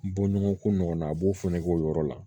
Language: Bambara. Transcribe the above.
Bɔɲɔgɔnko nɔgɔ na a b'o fana k'o yɔrɔ la